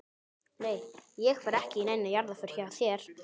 Nei ég fer ekki í neina jarðarför hjá þér.